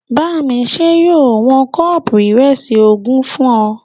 Bámiṣẹ́ yóò wọn kọ́ọ̀pù ìrẹsì ogún fún ọ